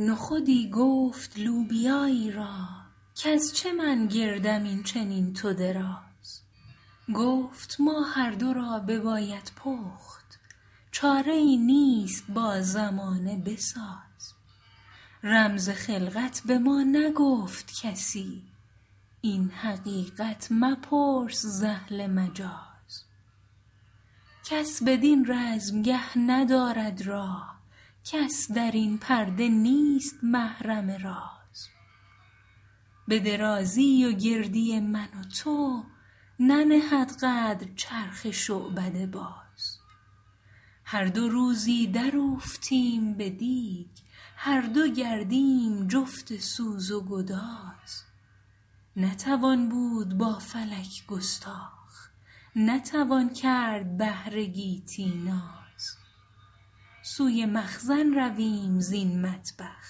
نخودی گفت لوبیایی را کز چه من گردم این چنین تو دراز گفت ما هر دو را بباید پخت چاره ای نیست با زمانه بساز رمز خلقت بما نگفت کسی این حقیقت مپرس ز اهل مجاز کس بدین رزمگه ندارد راه کس درین پرده نیست محرم راز بدرازی و گردی من و تو ننهد قدر چرخ شعبده باز هر دو روزی در اوفتیم بدیگ هر دو گردیم جفت سوز و گداز نتوان بود با فلک گستاخ نتوان کرد بهر گیتی ناز سوی مخزن رویم زین مطبخ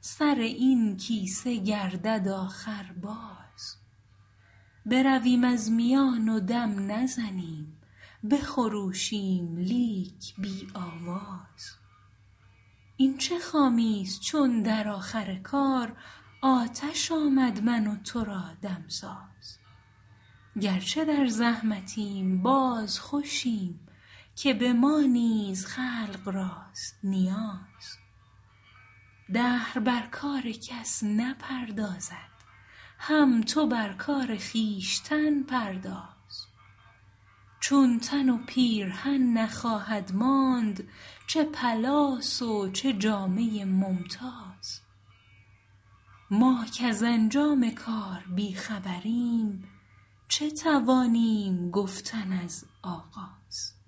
سر این کیسه گردد آخر باز برویم از میان و دم نزنیم بخروشیم لیک بی آواز این چه خامی است چون در آخر کار آتش آمد من و تو را دمساز گرچه در زحمتیم باز خوشیم که بما نیز خلق راست نیاز دهر بر کار کس نپردازد هم تو بر کار خویشتن پرداز چون تن و پیرهن نخواهد ماند چه پلاس و چه جامه ممتاز ما کز انجام کار بی خبریم چه توانیم گفتن از آغاز